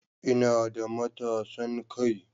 Ina da matasan kai